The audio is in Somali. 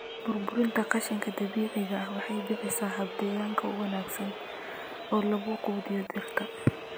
Burburinta qashinka dabiiciga ah waxay bixisaa hab deegaanka u wanaagsan oo lagu quudiyo dhirta.